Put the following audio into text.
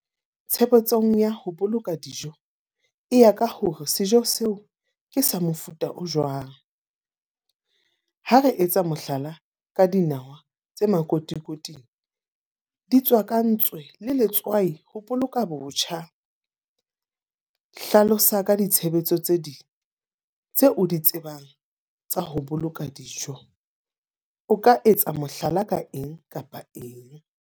Tshebetsong ya ho boloka dijo, e ya ka hore sejo seo ke sa mofuta o jwang. Ha re etsa mohlala ka dinawa tse makotikoting. Di tswakantswe le letswai ho boloka botjha. Hlalosa ka ditshebetso tse ding tse o di tsebang tsa ho boloka dijo. O ka etsa mohlala ka eng kapa eng.